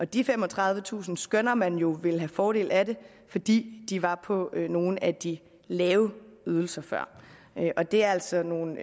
de femogtredivetusind skønner man jo vil have fordel af det fordi de var på nogle af de lave ydelser før det er altså nogle